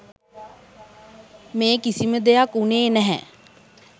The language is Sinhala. මේ කිසිම දෙයක් වුණේ නැහැ.